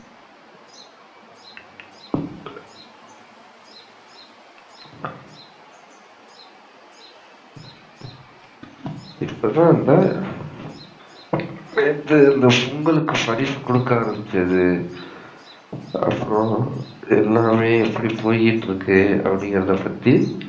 இப்பதான் இந்தா நேத்து பொங்கலுக்கு பரிசு குடுக்க ஆரம்பிச்சது, அப்பறம் எல்லாமே எப்படி போய்கிட்டு இருக்கு அப்டிங்கிறத பத்தி